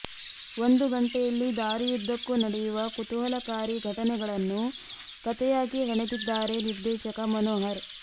ಒಂದು ಗಂಟೆಯಲ್ಲಿ ದಾರಿಯುದ್ದಕ್ಕೂ ನಡೆಯುವ ಕುತೂಹಲಕಾರಿ ಘಟನೆಗಳನ್ನು ಕಥೆಯಾಗಿ ಹೆಣೆದಿದ್ದಾರೆ ನಿರ್ದೇಶಕ ಮನೋಹರ್